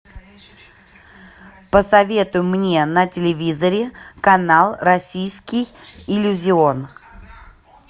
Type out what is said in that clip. посоветуй мне на телевизоре канал российский иллюзион